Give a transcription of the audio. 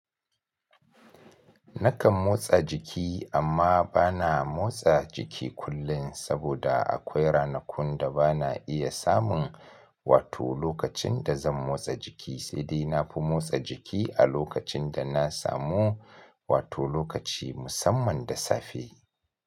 Nakan motsa jiki amma ba na motsa jiki kullum saboda akwai ranakun da ba na iya samun wato lokacin da zan motsa jiki, sai dai na fi motsa jiki a lokacin da na samu wato lokaci musamman da safe.